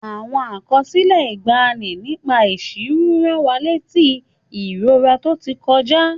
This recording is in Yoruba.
Àwọn àkọsílẹ̀ ìgbàanì nípa ìsìnrú rán wa létí ìrora tó ti kọjá.